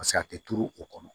a tɛ turu o kɔnɔ